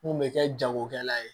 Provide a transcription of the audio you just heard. Mun bɛ kɛ jagokɛla ye